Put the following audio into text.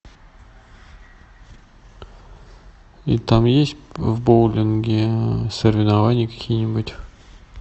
и там есть в боулинге соревнования какие нибудь